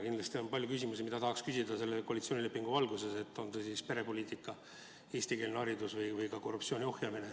Kindlasti on palju küsimusi, mida tahaks küsida selle koalitsioonilepingu valguses, on see siis perepoliitika, eestikeelne haridus või ka korruptsiooni ohjamine.